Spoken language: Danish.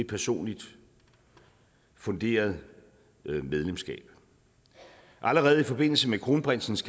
personligt funderet medlemskab allerede i forbindelse med kronprinsens